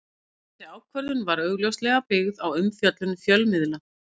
Þessi ákvörðun var augljóslega byggð á umfjöllun fjölmiðla.